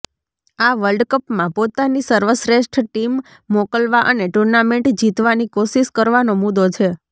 આ વર્લ્ડ કપમાં પોતાની સર્વશ્રેષ્ઠ ટીમ મોકલવા અને ટૂર્નામેન્ટ જીતવાની કોશિશ કરવાનો મુદ્દો છે